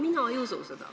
Mina ei usu seda.